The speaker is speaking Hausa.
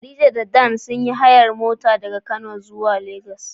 Khadija da Dan sun yi hayar mota daga kano zuwa lagos.